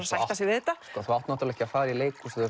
sætta sig við þetta þú átt ekki fara í leikhúsið